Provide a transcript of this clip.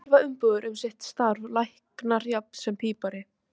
Allir þurfa umbúðir um sitt starf, læknir jafnt sem pípari.